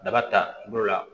Daba ta bolo la